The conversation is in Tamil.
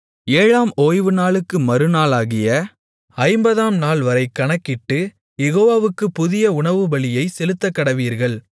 ஏழாம் ஓய்வுநாளுக்கு மறுநாளாகிய ஐம்பதாம் நாள்வரை கணக்கிட்டு யெகோவாவுக்குப் புதிய உணவுபலியைச் செலுத்தக்கடவீர்கள்